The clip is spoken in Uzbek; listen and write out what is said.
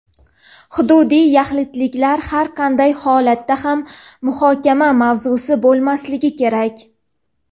Hududiy yaxlitlik har qanday holatda ham muhokama mavzusi bo‘lmasligi kerak.